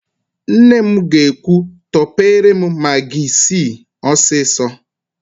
Nne m ga-ekwu, "tọpere m magị isii ọsịsọ"!